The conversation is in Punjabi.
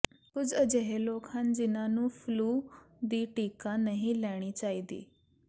ਕੁਝ ਅਜਿਹੇ ਲੋਕ ਹਨ ਜਿਨ੍ਹਾਂ ਨੂੰ ਫਲੂ ਦੀ ਟੀਕਾ ਨਹੀਂ ਲੈਣੀ ਚਾਹੀਦੀ